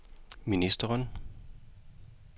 ministeren